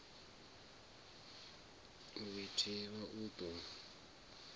u i thivha u ḓo